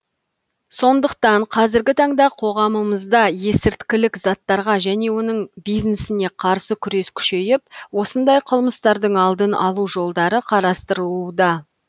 сондықтан қазіргі таңда қоғамымызда есірткілік заттарға және оның бизнесіне қарсы күрес күшейіп осындай қылмыстардың алдын алу жолдары қарастырылуда